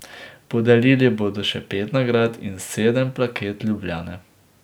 Podelili bodo še pet nagrad in sedem plaket Ljubljane.